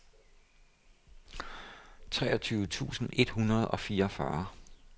treogtyve tusind et hundrede og fireogfyrre